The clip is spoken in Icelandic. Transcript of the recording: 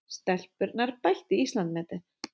Stelpurnar bættu Íslandsmetið